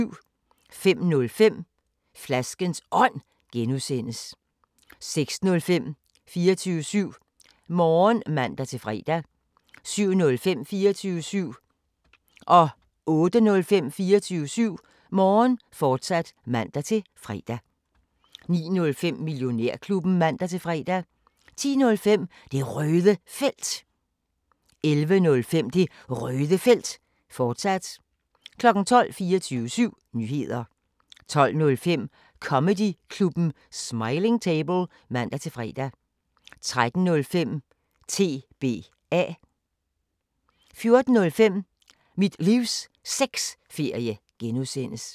05:05: Flaskens Ånd (G) 06:05: 24syv Morgen (man-fre) 07:05: 24syv Morgen, fortsat (man-fre) 08:05: 24syv Morgen, fortsat (man-fre) 09:05: Millionærklubben (man-fre) 10:05: Det Røde Felt 11:05: Det Røde Felt, fortsat 12:00 24syv Nyheder 12:05: Comedyklubben Smiling Table (man-fre) 13:05: TBA 14:05: Mit Livs Sexferie (G)